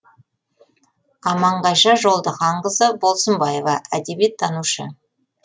аманғайша жолдыханқызы болсынбаева әдебиеттанушы